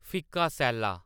फिक्का सैल्ला